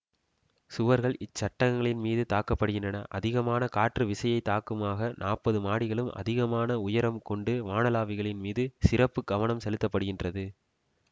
சுவர்கள் இச் சட்டகங்களின் மீது தாங்கப்படுகின்றன அதிகமான காற்று விசையைத் தாங்குமுகமாக நாற்பது மாடிகளுக்கும் அதிகமான உயரம் கொண்ட வானளாவிகள் மீது சிறப்பு கவனம் செலுத்தப்படுகின்றது